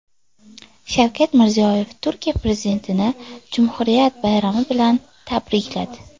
Shavkat Mirziyoyev Turkiya prezidentini Jumhuriyat bayrami kuni bilan tabrikladi.